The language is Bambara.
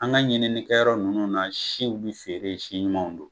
An ka ɲinininkɛyɔrɔ nunnu na siw bi feere si ɲumanw don.